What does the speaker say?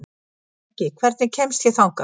Beggi, hvernig kemst ég þangað?